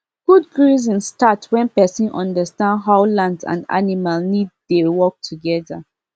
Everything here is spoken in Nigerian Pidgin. good grazing start when person understand how land and animals need dey work together